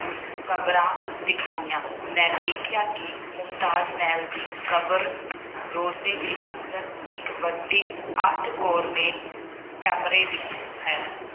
ਕਬਰਾਂ ਦਿਖਾਈਆਂ। ਮੈਂ ਦੇਖਿਆ ਕਿ ਮੁਮਤਾਜ ਮਹਿਲ ਦੀ ਕਬਰ ਰੋਜ਼ੇ ਦੇ ਅੰਦਰ ਇੱਕ ਵੱਡੀ ਅੱਠ ਕੋਰਨੇ ਕਮਰੇ ਵਿੱਚ ਹੈ।